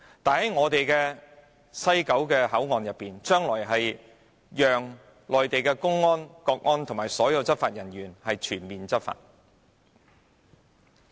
反觀我們的西九龍口岸，將來會容許內地公安、國安及所有執法人員全面執法。